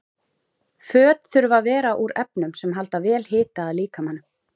Föt þurfa að vera úr efnum sem halda vel hita að líkamanum.